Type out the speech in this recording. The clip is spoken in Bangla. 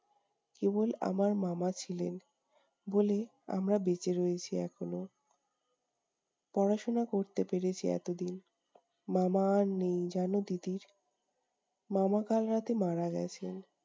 কেবল আমার মামা ছিলেন বলে আমরা বেঁচে রয়েছি এখনো। পড়াশোনা করতে পেরেছি এতদিন। মামা আর নেই জানো তিতির! মামা কাল রাতে মারা গেছেন।